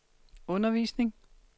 undervisning